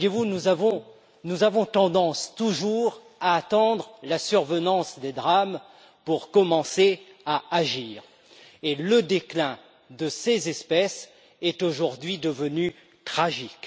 Nous avons toujours tendance à attendre la survenance de drames pour commencer à agir, et le déclin de ces espèces est aujourd'hui devenu tragique.